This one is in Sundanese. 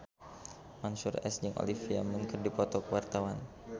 Mansyur S jeung Olivia Munn keur dipoto ku wartawan